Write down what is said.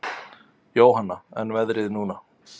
Jóhanna: En veðrið núna?